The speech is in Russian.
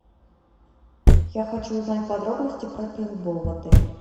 я хочу узнать подробности про пейнтбол в отеле